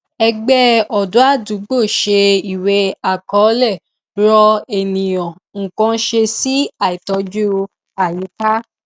ẹgbẹ ọdọ ádúgbò ṣe ìwé àkọlé rọ ènìyàn nǹkan ṣe sí àìtọjú àyíká